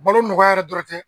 Balo nɔgɔya yɛrɛ dɔrɔn tɛ